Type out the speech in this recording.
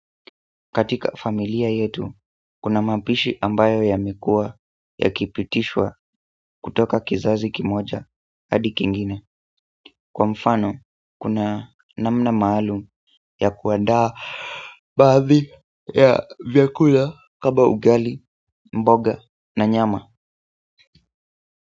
Katika familia yetu, kuna mapishi ambayo yamekuwa yakipitishwa kutoka kizazi kimoja, hadi kingine kwa mfano, kuna namna maalum ya kuandaa baadhi ya vyakula kama ugali, mboga na nyama.